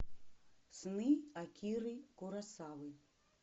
сны акиры куросавы